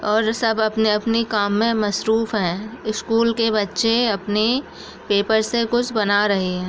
और सब अपने अपने काम में मसरूफ हैं स्कूल के बच्चे अपनी पेपर से कुछ बना रहे हैं ।